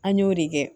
An y'o de kɛ